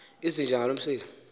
izinja ngaloo msila